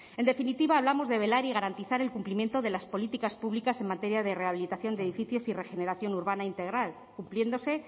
en definitiva hablamos de velar y garantizar el cumplimiento de las políticas públicas en materia de rehabilitación de edificios y regeneración urbana integral cumpliéndose